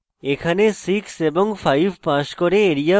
এখানে 6 এবং 5 pass করে